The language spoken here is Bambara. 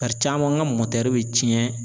Bari caman ka bɛ cɛn.